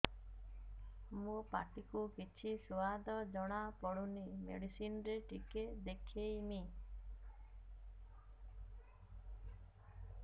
ମୋ ପାଟି କୁ କିଛି ସୁଆଦ ଜଣାପଡ଼ୁନି ମେଡିସିନ ରେ ଟିକେ ଦେଖେଇମି